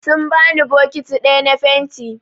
Sun bani bokiti ɗaya na fenti.